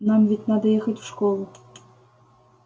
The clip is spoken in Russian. нам ведь надо ехать в школу